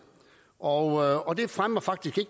og det fremmer faktisk